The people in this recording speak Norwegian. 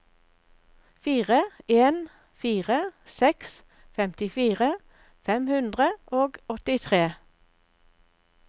fire en fire seks femtifire fem hundre og åttitre